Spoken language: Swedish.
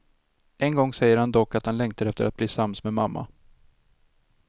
En gång säger han dock att han längtar efter att bli sams med mamma.